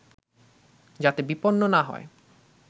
যাতে বিপন্ন না হয়